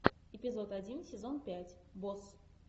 эпизод один сезон пять босс